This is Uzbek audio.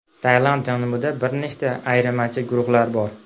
Tailand janubida bir nechta ayirmachi guruhlar bor.